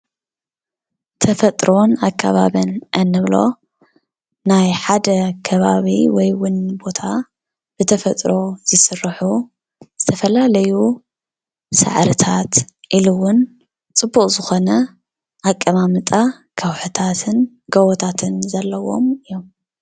ተፈጥሮን ኣከባብን እንብሎ ናይ ሓደ ከባቢ ወይ እውን ቦታ ብተፈጥሮ ዝስርሑ ዝተፈላለዩ ሳዕርታት ኢሉ እውን ፅቡቅ ዝኮነ አቀማምጣ ከውሒታትን ጎቦታትን ዘለዎም እዮም።